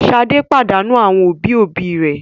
Ṣadé pàdánù àwọn òbí-òbí rẹ̀?